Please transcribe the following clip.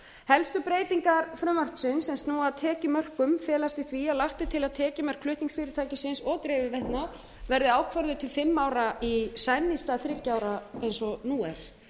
helstu breytingar frumvarpsins sem snúa að tekjumörkunum felast í því að lagt er til að tekjumörk flutningsfyrirtækisins og dreifiveitnanna verði ákvörðuð til fimm ára í senn í stað þriggja ára eins og nú er